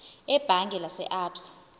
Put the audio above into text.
ebhange lase absa